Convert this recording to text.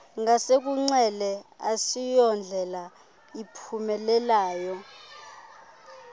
ngasekunxele asiyondlela iphumelayo